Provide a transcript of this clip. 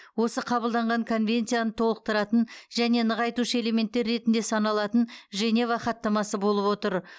осы қабылданған конвенцияны толықтыратын және нығайтушы элементтер ретінде саналатын женева хаттамасы болып отыр